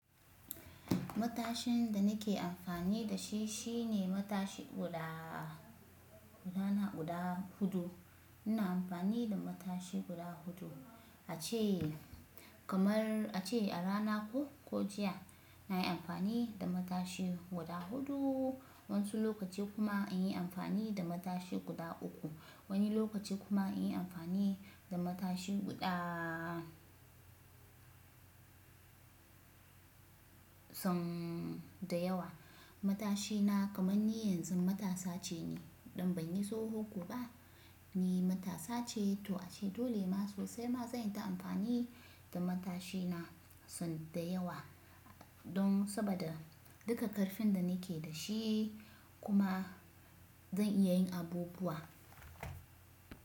Matashin da nake amfani da shi shine matashi guda, gudana guda huɗu. Ina amfani da matashi guda huɗu, a ce kamar a ce a rana ko, ko jiya nayi amfani da matashi guda huɗu. Wani lokaci kuma in yi amfani da matashi guda uku. Wani lokaci kuma in yi amfani da matashi guda sun da yawa. Matashina kamar ni yanzu matasa ce ni. Don ban yi tsoho ko ba, ni matasa ce. To ace dole ma sosai ma zan yi ta amfani da matashina sun da yawa. Don saboda duka ƙarfin da nake da shi kuma zan iya yin abubuwa.